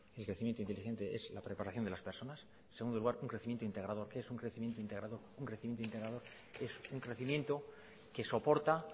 un crecimiento inteligente es la preparación de las personas en segundo lugar un crecimiento integrador qué es un crecimiento integrador un crecimiento integrador es un crecimiento que soporta